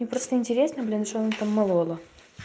мне просто интересно блин что он там молола